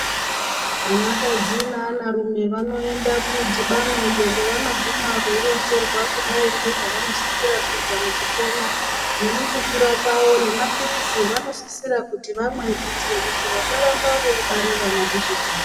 Anakadzi neanarume vanoenda kumudhibano iyo kwavanoguna veironzerwa ngezvevanosisira kuita mukupona nemukukura kwavo nemapirizi evanosisira kuti vamwe kuitire kuti vasarambe veibare vana peshe peshe.